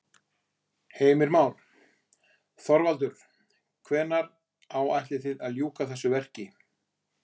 Heimir Már: Þorvaldur hvenær áætlið þið að ljúka þessu verki?